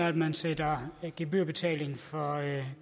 at man sætter gebyrbetaling for